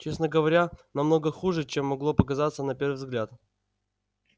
честно говоря намного хуже чем могло показаться на первый взгляд